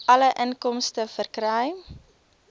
alle inkomste verkry